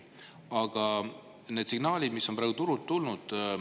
Aga signaalid on praegu turult tulnud.